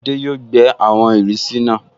Adé yóò gbẹ́ àwọn ìrísí náà